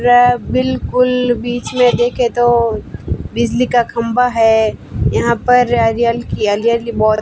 बिल्कुल बीच में देखें तो बिजली का खंभा है यहां पर एरियल की की बो--